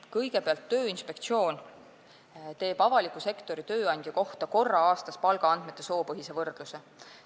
Kõigepealt, Tööinspektsioon teeb avaliku sektori tööandja kohta korra aastas palgaandmete soopõhise võrdluse.